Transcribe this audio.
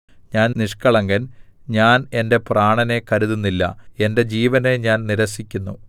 ഞാൻ നിഷ്കളങ്കൻ ഞാൻ എന്റെ പ്രാണനെ കരുതുന്നില്ല എന്റെ ജീവനെ ഞാൻ നിരസിക്കുന്നു